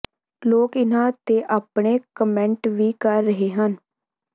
ਲੋਕ ਇਹਨਾਂ ਤੇ ਆਪਣੇ ਕਮੈਂਟ ਵੀ ਕਰ ਰਹੇ ਹਨ